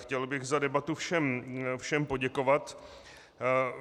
Chtěl bych za debatu všem poděkovat.